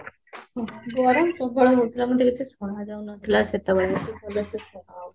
ଗରମ, ଗରମ ହୋଉଥିଲା ମତେ କିଛି ସୁନା ଯାଉନଥିଲା ସେତେ ବେଳେ କିଛି ଭଲ ସେ ସୁନା ଯାଉ ନଥିଲା